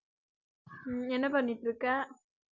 ஹம் என்ன பண்ணிட்டிருக்க?